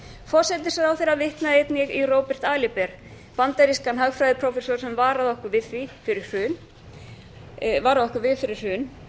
forsætisráðherra vitnaði einnig í róbert aliber bandarískan hagfræðiprófessor sem varaði okkur við því fyrir hrun